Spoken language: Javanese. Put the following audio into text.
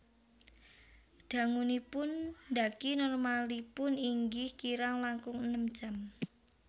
Dangunipun ndhaki normalipun inggih kirang langkung enem jam